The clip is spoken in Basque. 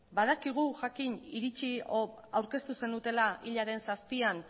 badakigu jakin aurkeztu zenutela hilaren zazpian